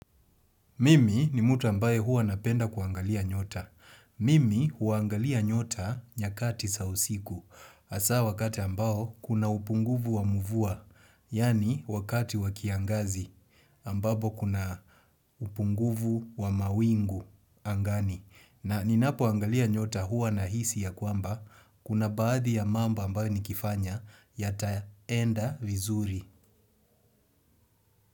Mimi ni mtu ambaye huwa napenda kuangalia nyota. Mimi huangalia nyota nyakati za usiku. Hasa wakati ambao kuna upunguvu wa mvua. Yaani wakati wa kiangazi ambapo kuna upunguvu wa mawingu angani. Na ninapo angalia nyota huwa na hisi ya kwamba kuna baadhi ya mambo ambayo nikifanya yataenda vizuri.